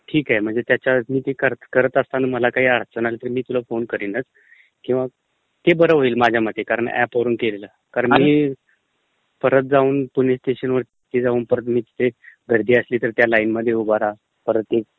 ठीक आहे, म्हणजे ते करत असताना मला काही अडचण आली तर, कारण ते बरं होईल माझ्यामते ऍप वरून केलेलं कारण मी परत जाऊन पुणे स्टेशनवरती मी तिकडे जआून पतर तेच गर्दी असली तर त्या लाइनमध्ये उभं राहा परत